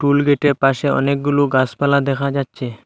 School গেটের পাশে অনেকগুলো গাসপালা দেখা যাচ্ছে।